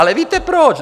Ale víte proč?